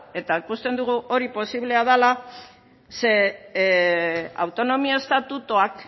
eta ikusten dugu hori posiblea dela ze autonomia estatutuak